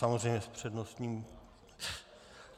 Samozřejmě, s přednostním...